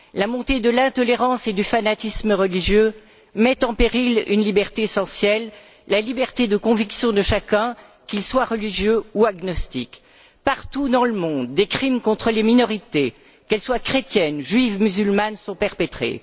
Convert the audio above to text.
La montée de l'intolérance et du fanatisme religieux met en péril une liberté essentielle, la liberté de conviction de chacun, qu'il soit religieux ou agnostique. Partout dans le monde, des crimes contre les minorités, qu'elles soient chrétiennes, juives, musulmanes, sont perpétrés.